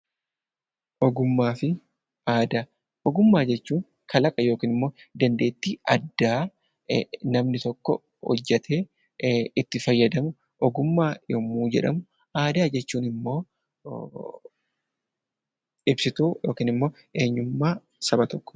Ogummaa fi aadaa Ogummaa jechuu kalaqa yookiin immoo dandeettii addaa namni tokko hojjetee itti fayyadamu 'Ogummaa' yommuu jedhamu; Aadaa jechuun immoo ibsituu yookiin eenyummaa saba tokkoo ti.